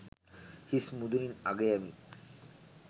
හිස් මුදුනින් අගයමි.